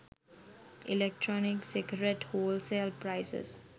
electronic cigarette wholesale prices